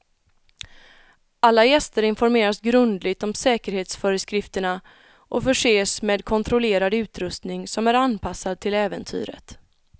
Alla gäster informeras grundligt om säkerhetsföreskrifterna och förses med kontrollerad utrustning som är anpassad till äventyret.